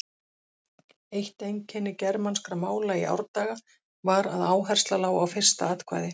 Eitt einkenni germanskra mála í árdaga var að áhersla lá á fyrsta atkvæði.